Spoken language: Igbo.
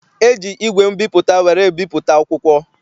E ji igwe mbipụta were ebipụta akwụkwọ.